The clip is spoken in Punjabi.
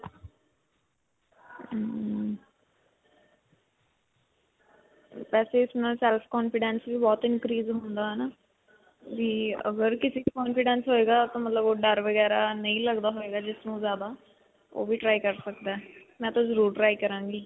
ਵੈਸੇ ਇਸ ਨਾਲ self-confidence ਵੀ ਬਹੁਤ increase ਹੁੰਦਾ ਹੈ ਨਾ? ਵੀ ਅਗਰ ਕਿਸੀ 'ਚ confidence ਹੋਏਗਾ ਤਾਂ ਮਤਲਬ ਓਹ ਡਰ ਵਗੈਰਾ ਨਹੀਂ ਲਗਦਾ ਹੋਏਗਾ ਜਿਸ ਨੂੰ ਜਿਆਦਾ ਓਹ ਵੀ try ਕਰ ਸਕਦਾ ਹੈ. ਮੈਂ ਤਾਂ ਜ਼ਰੂਰ try ਕਰਾਂਗੀ.